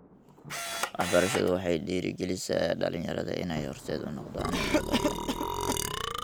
Waxbarashadu waxay dhiirigelisaa dhalinyarada inay horseed u noqdaan nabadda.